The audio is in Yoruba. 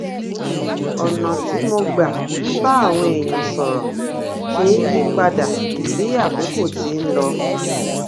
ònà tí mo gbà ń bá àwọn èèyàn sòrò ṣe ń yí padà bí àkókò ti ń lọ